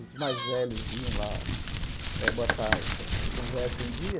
Os mais velhos iam lá eh botar os as conversas em dia.